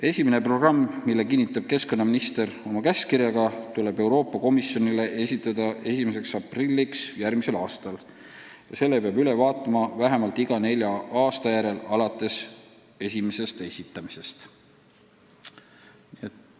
Esimene programm, mille kinnitab keskkonnaminister oma käskkirjaga, tuleb Euroopa Komisjonile esitada 1. aprilliks järgmisel aastal ning selle peab üle vaatama vähemalt iga nelja aasta järel alates esimesest esitamisest.